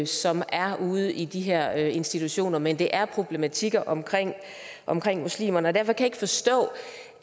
som er ude i de her institutioner men at det er problematikker omkring omkring muslimer derfor kan jeg ikke forstå